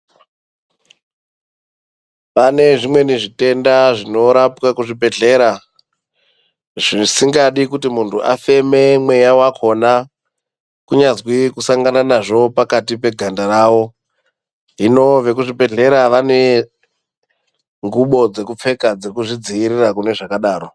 Pane zvimweni zvitenda zvinorapwe kuzvibhedhlera zvisingadi kuti muntu afeme mweya wakhona kunyazwi kusangana nqzvo pakati peganda rakwo hino vekuzvibhedhlera vane ngubo dzekupfeka dzekuzvidziirira kune zvakadaro.